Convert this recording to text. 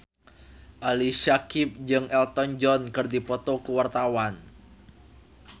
Ali Syakieb jeung Elton John keur dipoto ku wartawan